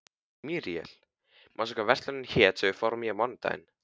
Míríel, manstu hvað verslunin hét sem við fórum í á mánudaginn?